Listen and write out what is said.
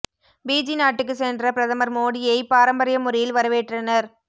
PG நாட்டுக்கு சென்ற பிரதமர் மோடியை பாரம்பரிய முறையில் வரவேற்றனர்